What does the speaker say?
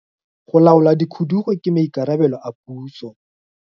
Go laola dikhudugo ke maikarabelo a puso.